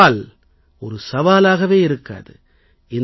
பிறகு சவால் சவாலாகவே இருக்காது